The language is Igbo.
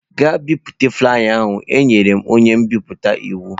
Gaa bipụta flaiya ahu! Enyere m onye nbipute iwu.